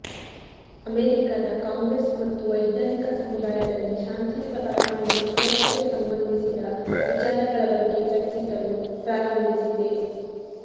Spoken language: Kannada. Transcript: ಅಮೇರಿಕಾದ ಕಾಂಗ್ರೆಸ್ ಮತ್ತು ವೈಜ್ಞಾನಿಕ ಸಮುದಾಯದಲ್ಲಿ ಶಾಂತಿಯುತ ಪರಮಾಣು ಸುರಕ್ಷತೆ ಸಂಬಂಧಿಸಿದ ವಿಚಾರಗಳ ಬಗ್ಗೆ ಚರ್ಚಿಸಲು ಪ್ರಾರಂಭಿಸಿದೆ